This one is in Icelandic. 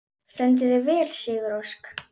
Þú stendur þig vel, Sigurósk!